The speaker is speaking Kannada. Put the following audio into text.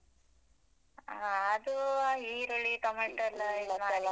ಆ ಅದೂ ಈರುಳ್ಳಿ, ಟೊಮೇಟೊ